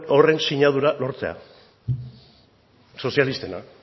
horren sinadura lortzea sozialistena